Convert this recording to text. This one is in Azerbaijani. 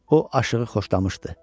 O aşığı xoşlamışdı.